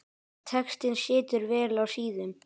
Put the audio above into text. Textinn situr vel á síðum.